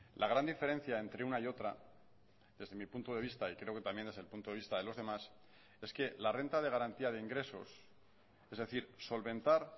la gran diferencia entre una y otra desde mi punto de vista y creo que también desde el punto de vista de los demás es que la renta de garantía de ingresos es decir solventar